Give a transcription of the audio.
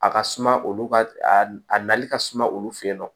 A ka suma olu ka a nali ka suma olu fɛ yen nɔ